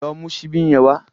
Lọ mú ṣíbí yẹn wá.